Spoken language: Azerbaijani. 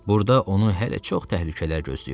Burda onu hələ çox təhlükələr gözləyirdi.